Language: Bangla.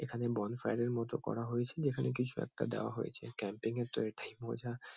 এখানে বনফায়ার -এর মতো করা হয়েছে যেখানে কিছু একটা দেওয়া হয়েছে ক্যাম্পিং -এর তো এটাই মজা।